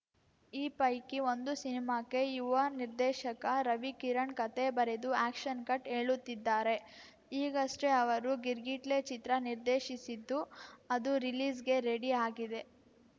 ಈ ಪೈಕಿ ಒಂದು ಸಿನಿಮಾಕ್ಕೆ ಯುವ ನಿರ್ದೇಶಕ ರವಿ ಕಿರಣ್‌ ಕತೆ ಬರೆದು ಆ್ಯಕ್ಷನ್‌ ಕಟ್‌ ಹೇಳುತ್ತಿದ್ದಾರೆ ಈಗಷ್ಟೇ ಅವರು ಗಿರ್‌ಗಿಟ್ಲೆ ಚಿತ್ರ ನಿರ್ದೇಶಿಸಿದ್ದು ಅದು ರಿಲೀಸ್‌ಗೆ ರೆಡಿ ಆಗಿದೆ